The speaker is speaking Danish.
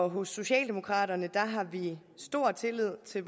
hos socialdemokraterne har vi stor tillid til